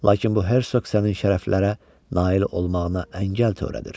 Lakin bu hersoq sənin şərəflərə nail olmağına əngəl törədir.